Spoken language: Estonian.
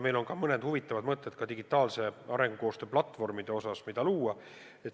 Meil on ka mõned huvitavad mõtted digitaalse arengukoostöö platvormide kohta, mis võiks luua.